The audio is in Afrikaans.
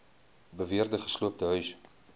beweerde gesloopte huise